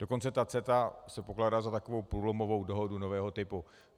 Dokonce ta CETA se pokládá za takovou průlomovou dohodu nového typu.